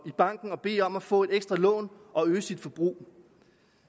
i banken og bede om at få et ekstra lån og øge sit forbrug